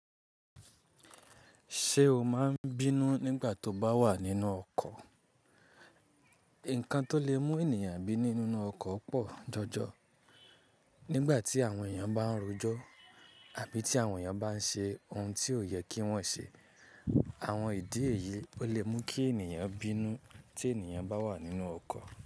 Ṣé o máa n bínú nígbà tó bá wà nínú ọkọ́? Nńkan tó lè mú ènìyàn bínú nínú ọkọ̀ pọ̀ jọjọ. Nígbà tí àwọn èèyàn bá n rojọ́ àbí tí àwọn èèyàn bá n ṣe ohun tí ò yẹ kí wọ́n ṣe. Àwọn ìdí èyí ó lè mú kí ènìyàn bínú tí ènìyàn bá wà nínú ọkọ̀